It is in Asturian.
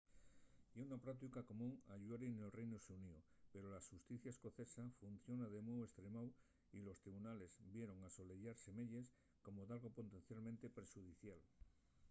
ye una práutica común ayuri nel reinu xuníu pero la xusticia escocesa funciona de mou estremáu y los tribunales vieron l’asoleyar semeyes como dalgo potencialmente perxudicial